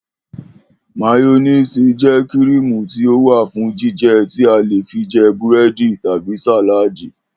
Máyó̩néèsì jé̩ kríìmù tí ó wà fún jíje̩ tí a lè fi je̩ búré̩dì tàbí sàláàdì